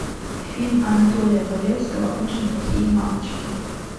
фильм анатолия валевского очень плохие мамочки